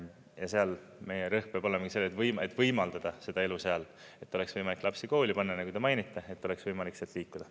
Ja seal meie rõhk peab olema sellel, et võimaldada seda elu seal, et oleks võimalik lapsi kooli panna, nagu te mainite, et oleks võimalik sealt liikuda.